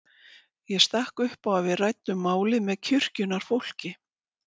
Ég stakk upp á að við ræddum málið með kirkjunnar fólki.